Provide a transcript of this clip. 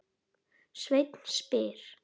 Sveinn spyr